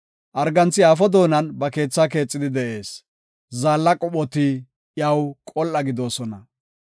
Arganthi aafo doonan ba keethaa keexidi de7ees; zaalla qophoti iyaw qol7a gididosona.